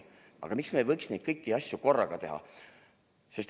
Aga miks me ei võiks kõiki neid asju korraga teha?